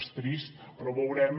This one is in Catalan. és trist però veurem